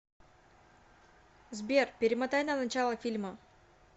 сбер перемотай на начало фильма